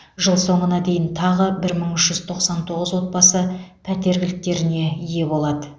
жыл соңына дейін тағы да бір мың үш жүз тоқсан тоғыз отбасы пәтер кілттеріне ие болады